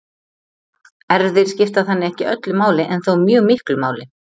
Erfðir skipta þannig ekki öllu máli en þó mjög miklu máli.